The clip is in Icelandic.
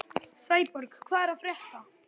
Sæborg, hvað er að frétta?